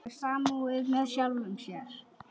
Hefur samúð með sjálfum sér.